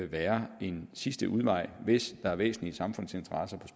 være en sidste udvej hvis der er væsentlige samfundsinteresser